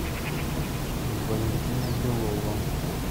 валентина белова